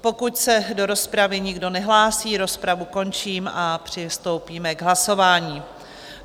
Pokud se do rozpravy nikdo nehlásí, rozpravu končím a přistoupíme k hlasování.